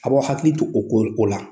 A b'aw hakili to o ko o ko la.